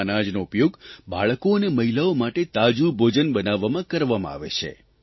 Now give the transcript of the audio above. આ અનાજનો ઉપયોગ બાળકો અને મહિલાઓ માટે તાજું ભોજન બનાવવામાં કરવામાં આવે છે